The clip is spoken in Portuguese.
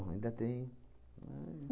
Bom, ainda tem.